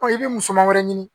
i bɛ musaka wɛrɛ ɲini